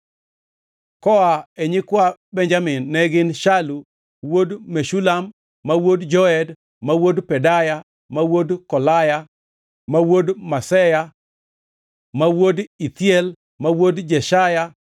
Koa e nyikwa Benjamin ne gin: Salu wuod Meshulam, ma wuod Joed, ma wuod Pedaya, ma wuod Kolaya, ma wuod Maseya, ma wuod Ithiel, ma wuod Jeshaya,